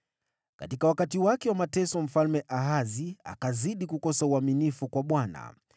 Katika wakati wake wa mateso Mfalme Ahazi akazidi kukosa uaminifu kwa Bwana .